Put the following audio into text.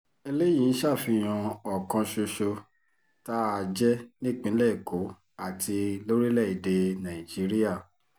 eléyìí ń ṣàfihàn ọ̀kan ṣoṣo tá a jẹ́ nípìnlẹ̀ èkó àti lórílẹ̀-èdè nàìjíríà